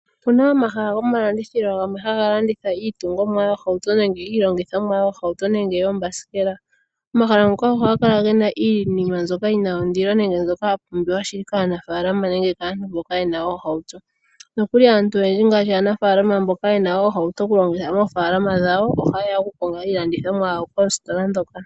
Opuna omahala gomalandithilo gamwe haga landitha iitungomwa yoohauto nenge iilongithomwa yoohauto nenge yoombasikela. Omahala ngaka ohaga kala gena iinima mbyoka yina ondilo nenge mbyoka ya pumbiwa shili kaanafaalama nenge kaantu mboka yena oohauto, nokuli aantu oyendji ngaashi aanafaalama mboka yena oohauto oku longitha moofaalama dhawo, ohaye ya oku konga iilandithomwa yawo koositola ndhoka.